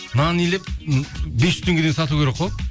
нан илеп бес жүз теңгеден сату керек қой